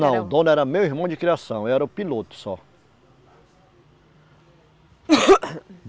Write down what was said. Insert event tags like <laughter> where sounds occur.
Não, o dono era meu irmão de criação, eu era o piloto só. <coughs>